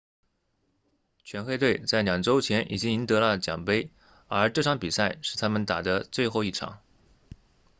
全黑队在两周前已经赢得了奖杯而这场比赛是他们打的最后一场